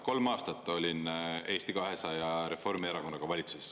Kolm aastat olin Eesti 200 ja Reformierakonnaga valitsuses.